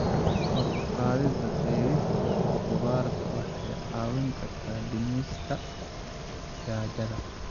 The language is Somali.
Kor u qaadida beerista khudradda waxay caawin kartaa dhimista gaajada.